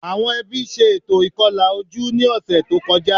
Àwọn ẹbí ṣe ètò ìkọlà ojú ní ọ̀sẹ̀ tó kọjá